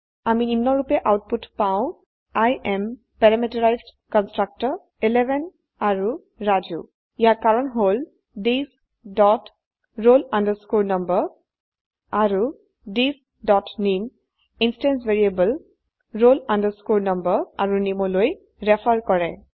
আমই নিম্নৰুপে আউটপুট পাউ I am parameterized constructor 11 আৰু ৰাজু ইয়াৰ কাৰণ হল থিচ ডট roll number আৰু থিচ ডট নামে ইন্সট্যান্স ভ্যাৰিয়েবল roll number আৰু নামে লৈ ৰেফাৰ কৰে